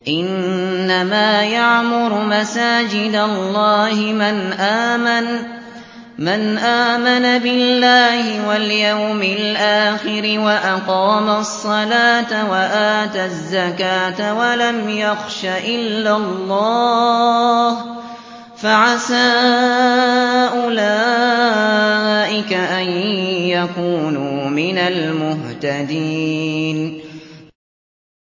إِنَّمَا يَعْمُرُ مَسَاجِدَ اللَّهِ مَنْ آمَنَ بِاللَّهِ وَالْيَوْمِ الْآخِرِ وَأَقَامَ الصَّلَاةَ وَآتَى الزَّكَاةَ وَلَمْ يَخْشَ إِلَّا اللَّهَ ۖ فَعَسَىٰ أُولَٰئِكَ أَن يَكُونُوا مِنَ الْمُهْتَدِينَ